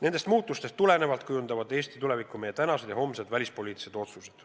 Nendest muutustest tulenevalt kujundavad Eesti tulevikku meie tänased ja homsed välispoliitilised otsused.